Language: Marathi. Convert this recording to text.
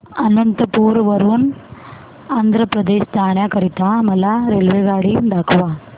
अनंतपुर वरून आंध्र प्रदेश जाण्या करीता मला रेल्वेगाडी दाखवा